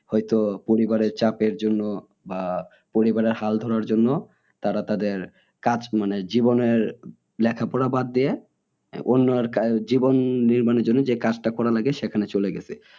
হয়তো পরিবারের চাপের জন্য বা পরিবারের হাল ধরার জন্য তারা তাদের কাজ মানে জীবনের লেখা পড়া বাদ দিয়ে জীবন নির্মাণের জন্য যে কাজটা করা লাগে সেখানে চলে গেছে।